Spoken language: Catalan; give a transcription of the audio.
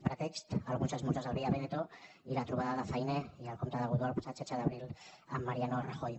pretext alguns esmorzars al via veneto i la trobada de fainé i el comte de godó el passat setze d’abril amb mariano rajoy